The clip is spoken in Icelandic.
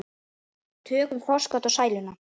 Tökum forskot á sæluna.